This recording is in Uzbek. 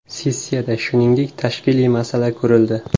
Sessiyada, shuningdek, tashkiliy masala ko‘rildi.